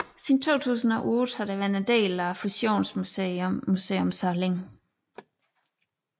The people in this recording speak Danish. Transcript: Siden 2008 har det være en del af fusionsmuseet Museum Salling